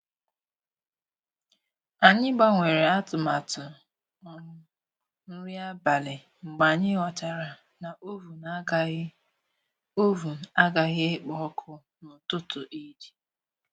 Anyị gbanwere atụmatụ um nri abalị mgbe anyị ghọtara na oven agaghị oven agaghị ekpo ọkụ n'ụtụtụ Eid